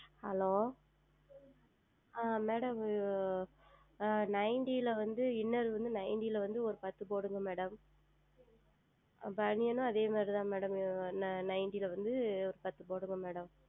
Hello ஆஹ் Madam Ninety ல வந்து Inner வந்து Ninety ல வந்து ஓர் பத்து போடுங்கள் MadamBaniyan உம் அதே மாதிரி தான் Madam Ninety ல வந்து பத்து போடுங்கள் Madam